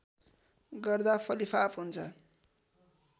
गर्दा फलिफाप हुन्छ